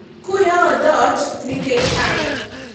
okuyawo dhoot ni kech wan."